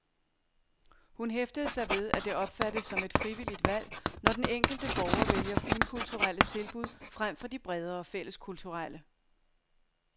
Hun hæftede sig ved, at det opfattes som et frivilligt valg, når den enkelte borger vælger finkulturelle tilbud frem for de bredere fælleskulturelle.